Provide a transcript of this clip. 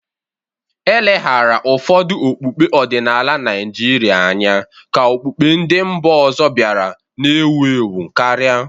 E leghaara ụfọdụ okpukpe ọdịnala Naijiria anya ka okpukpe ndị mba ọzọ bịara na-ewu ewu karịa.